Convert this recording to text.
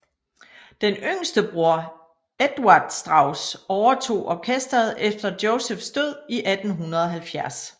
Den yngste bror Eduard Strauss overtog orkesteret efter Josephs død i 1870